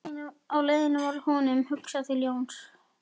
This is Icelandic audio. Á leiðinni varð honum hugsað til Jóns